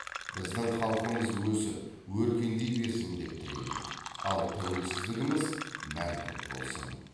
біздің халқымыз өсіп өркендей берсін деп тілеймін ал тәуелсіздігіміз мәңгілік болсын